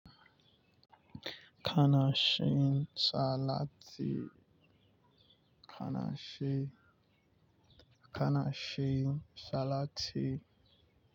Kana cin salati kana cin kana cin salati.